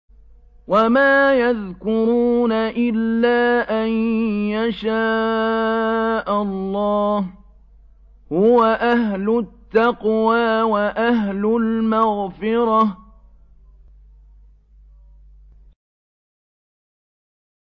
وَمَا يَذْكُرُونَ إِلَّا أَن يَشَاءَ اللَّهُ ۚ هُوَ أَهْلُ التَّقْوَىٰ وَأَهْلُ الْمَغْفِرَةِ